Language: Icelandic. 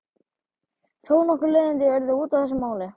Þó nokkur leiðindi urðu út af þessu máli.